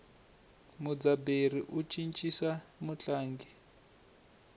mudzaberi u cincisa mutlangi